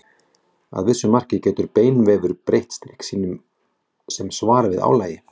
Að vissu marki getur beinvefur breytt styrk sínum sem svar við álagi.